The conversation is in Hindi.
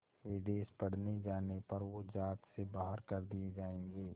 विदेश पढ़ने जाने पर वो ज़ात से बाहर कर दिए जाएंगे